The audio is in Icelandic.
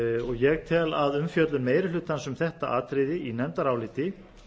ég tel að umfjöllun meiri hlutans um þetta atriði í nefndaráliti